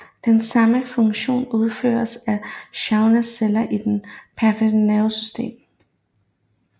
Den samme funktion udføres af Schwann celler i det perifere nervesystem